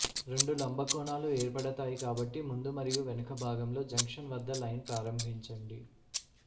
రెండు లంబ కోణాలు ఏర్పడతాయి కాబట్టి ముందు మరియు వెనుక భాగంలో జంక్షన్ వద్ద లైన్ ప్రారంభించండి